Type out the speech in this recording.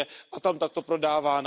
a tam takto prodávány.